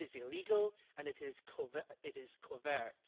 It is illegal and it is covert.